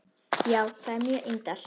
Já, það er mjög indælt.